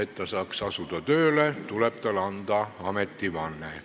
Et ta saaks tööle asuda, tuleb tal anda ametivanne.